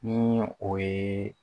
Ni o ye